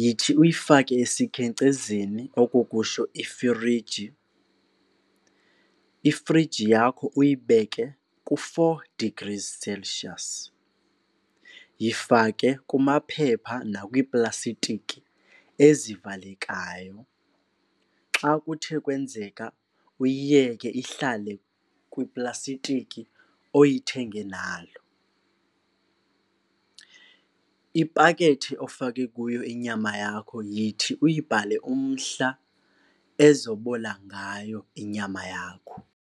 yithi uyifake esikhenkcezeni, oko kusho ifriji. Ifriji yakho uyibeke ku-four degrees Celsius. Yifake kumaphepha nakwiiplasitiki ezivalekayo, xa kuthe kwenzeka uyiyeke ihlale kwiplasitiki oyithenge nayo. Ipakethe ofake kuyo inyama yakho yithi uyibhale umhla ezobola ngayo inyama yakho.